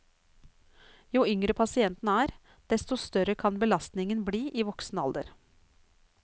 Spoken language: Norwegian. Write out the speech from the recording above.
Jo yngre pasienten er, desto større kan belastningen bli i voksen alder.